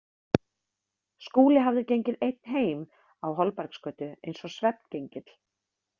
Skúli hafði gengið einn heim á Holbergsgötu, eins og svefngengill.